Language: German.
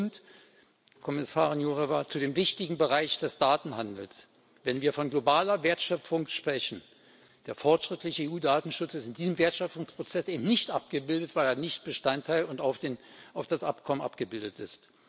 Und, Kommissarin Jourová, zu dem wichtigen Bereich des Datenhandels Wenn wir von globaler Wertschöpfung sprechen Der fortschrittliche EU Datenschutz ist in diesem Wertschöpfungsprozess eben nicht abgebildet, weil er nicht Bestandteil und in dem Abkommen abgebildet ist.